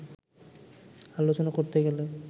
আলোচনা করতে হলে